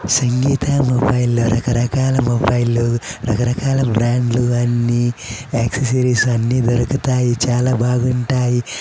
సంగీత mobile లో రకరకాల mobile లు రకరకాల బ్రాండ్ లు అన్ని యాక్సెసరీస్ అన్ని దొరుకుతాయి. చాలా బాగుంటాయి.